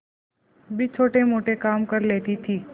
भी छोटेमोटे काम कर लेती थी